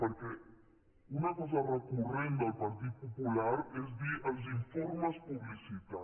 perquè una cosa recurrent del partit popular és dir els informes publicitat